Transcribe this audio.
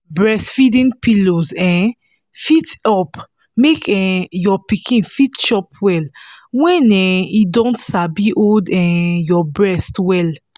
breastfeeding pillows um fit help make um your pikin fit chop well when um e don sabi hold um your breast well